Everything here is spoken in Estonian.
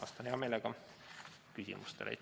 Vastan hea meelega küsimustele.